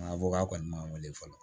A fɔ k'a kɔni ma wele fɔlɔ